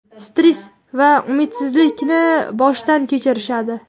stress va umidsizlikni boshdan kechirishadi.